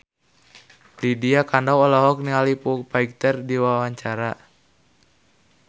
Lydia Kandou olohok ningali Foo Fighter keur diwawancara